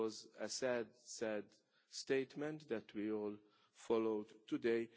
It was a very sad statement that we all followed today.